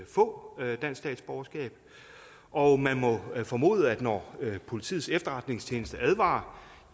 få dansk statsborgerskab og man må formode at når politiets efterretningstjeneste advarer